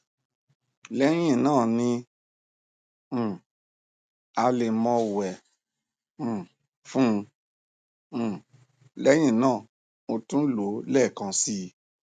lẹyìn náà ní um alẹ mo wẹ um fún un um lẹyìn náà mo tún lò ó lẹẹkan si